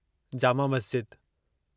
Jama Masjid